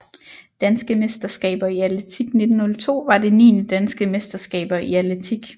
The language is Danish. Danske mesterskaber i atletik 1902 var det niende Danske mesterskaber i atletik